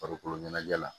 Farikolo ɲɛnajɛ la